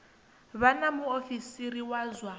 vha na muofisiri wa zwa